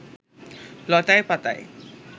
লতায় পাতায়